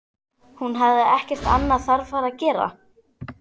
Hún hafði ekki annað þarfara að gera.